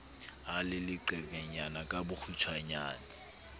a le leqenyana ka bokgutshwanyane